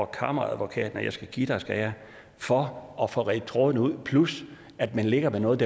kammeradvokaten og jeg skal give dig skal jeg for at få redt trådene ud plus at man ligger med noget